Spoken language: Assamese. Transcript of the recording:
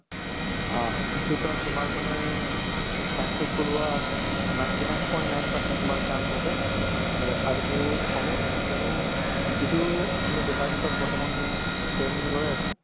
অ in future ত তোমাৰ মানে successful হোৱা ninety nine point nine percent তোমাৰ chance আছে আৰে আৰুতো হবও তুমি কিয়নো যিটো তুমি বৰ্তমান training লৈ আছা